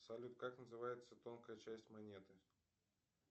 салют как называется тонкая часть монеты